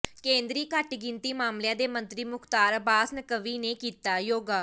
ਕੇਂਦਰੀ ਘੱਟਗਿਣਤੀ ਮਾਮਲਿਆਂ ਦੇ ਮੰਤਰੀ ਮੁਖਤਾਰ ਅੱਬਾਸ ਨੱਕਵੀ ਨੇ ਕੀਤਾ ਯੋਗਾ